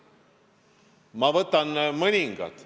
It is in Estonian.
Ma ütlen mõningad.